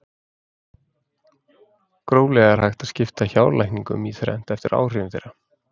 gróflega er hægt að skipta hjálækningum í þrennt eftir áhrifum þeirra